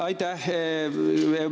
Aitäh!